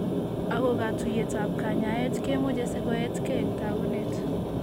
Ako katuiyetab kanyaayet keemoche sikoeetkeey en taakunet.